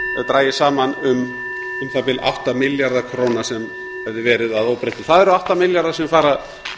dragist saman um um það bil átta milljarða króna sem hefði verið að óbreyttu það eru átta milljarðar sem fara